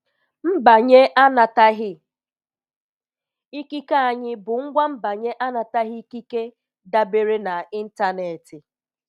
Mbanye anataghị ikike anyị bụ ngwa mbanye anataghị ikike dabere na ntanetị.